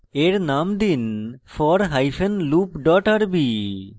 এর name দিন for hyphen loop dot rb